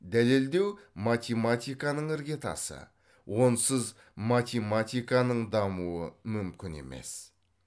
дәлелдеу математиканың іргетасы онсыз математиканың дамуы мүмкін емес